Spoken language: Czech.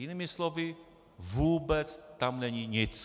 Jinými slovy, vůbec tam není nic.